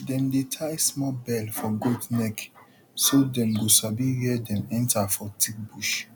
dem dey tie small bell for goat neck so dem go sabi where dem enter for thick bushf